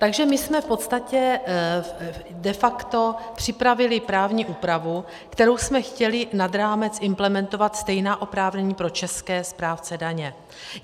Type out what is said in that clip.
Takže my jsme v podstatě de facto připravili právní úpravu, kterou jsme chtěli nad rámec implementovat stejná oprávnění pro české správce daně.